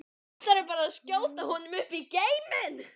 Ætlarðu bara að skjóta honum upp í geiminn?